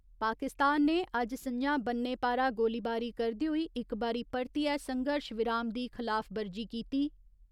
पाकिस्तान ने अज्ज सं'ञा बन्ने पारा गोलीबारी करदे होई इक बारी परतियै संघर्श विराम दी खलाफवर्जी कीती।